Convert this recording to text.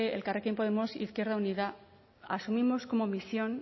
elkarrekin podemos izquierda unida asumimos como misión